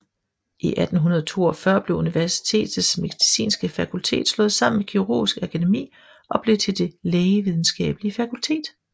I 1842 blev universitetets medicinske fakultet slået sammen med Kirurgisk Akademi og blev til Det Lægevidenskabelige Fakultet